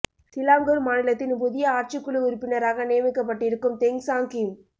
Selangor மாநிலத்தின் புதிய ஆட்சிக்குழு உறுப்பினராக நியமிக்கப்பட்டிருக்கும் தெங் சாங் கிம்